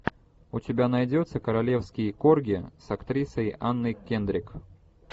у тебя найдется королевский корги с актрисой анной кендрик